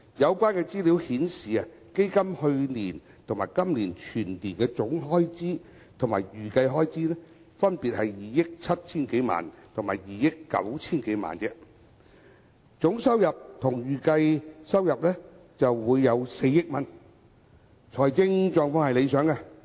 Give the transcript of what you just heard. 有關資料顯示，基金去年及今年全年總開支及預計開支，分別是2億 7,000 多萬元和2億 9,000 萬元而已；而總收入和預計收入均為4億元，財政狀況理想。